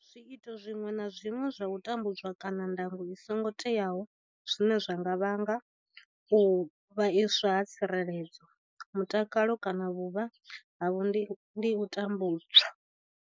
Zwiito zwiṅwe na zwiṅwe zwa u tambudza kana ndango i songo teaho zwine zwa nga vhanga u vhaiswa ha tsireledzo, mutakalo kana vhuvha havho ndi u tambudzwa.